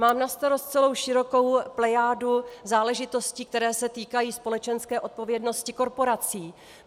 Mám na starost celou širokou plejádu záležitostí, které se týkají společenské odpovědnosti korporací.